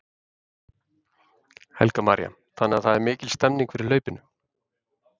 Helga María: Þannig að það er mikil stemning fyrir hlaupinu?